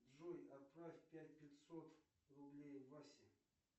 джой отправь пять пятьсот рублей васе